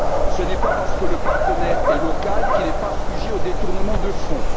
Ce n'est pas parce que le partenaire est local qu'il n'est pas sujet aux détournements de fonds.